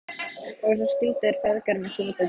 Og svo skildu þeir feðgar með þungu geði.